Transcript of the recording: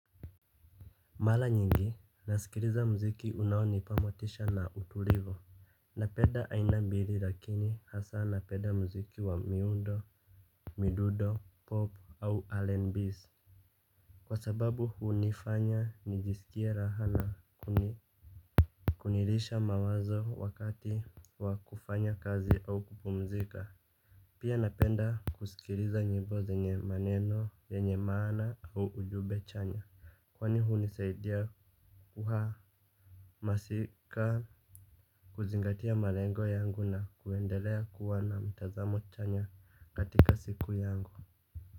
Mara nyingi nasikiliza mziki unaonipa motisha na utulivu. Napenda aina mbili lakini hasaa napenda mziki wa miundo, midudo, pop au allenbees. Kwa sababu hunifanya nijisikie raha na kunirisha mawazo wakati wa kufanya kazi au kupumzika. Pia napenda kusikiliza nyimbo zenye maneno, zenye maana au ujumbe chanya. Kwani hunisaidia kuhaa Masika kuzingatia malengo yangu na kuendelea kuwa na mtazamo chanya katika siku yangu.